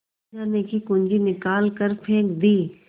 खजाने की कुन्जी निकाल कर फेंक दी